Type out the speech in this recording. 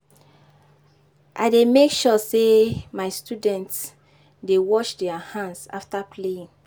I dey make sure sey my students dey wash their hands afta playing.